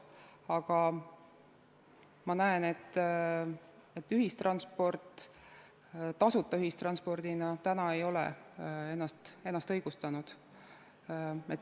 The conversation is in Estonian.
Aga ma näen, et ühistransport tasuta ühistranspordina ei ole ennast õigustanud.